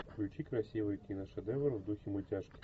включи красивый киношедевр в духе мультяшки